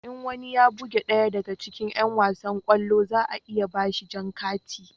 In wani ya buge ɗaya daga cikin yan wasan kwallo za a iya ba shi jan kati